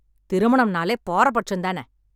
திருமணம் நாலே பாரபட்சம் தான